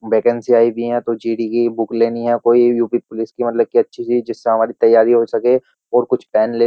Vacancy आई भी हैं तो जी.डी. की बुक लेनी है कोई यू.पी. पुलिस की मतलब कि अच्छी सी जिससे हमारी तैयारी हो सके और कुछ पेन --